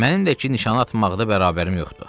Mənim də ki, nişana atmaqda bərabərim yoxdur.